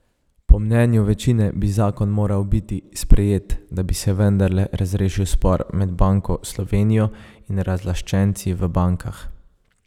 Po mnenju večine bi zakon moral biti sprejet, da bi se vendarle razrešil spor med Banko Slovenijo in razlaščenci v bankah.